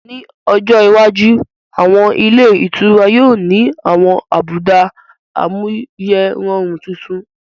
Ní ọjọ iwájú, àwọn ilé ìtura yóò ni àwọn àbùdá amáyérọrùn titun